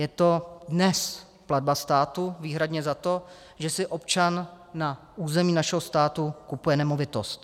Je to dnes platba státu výhradně za to, že si občan na území našeho státu kupuje nemovitost.